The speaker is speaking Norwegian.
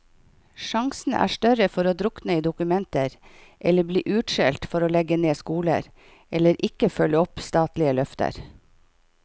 Sjansene er større for å drukne i dokumenter eller bli utskjelt for å legge ned skoler, eller ikke følge opp statlige løfter.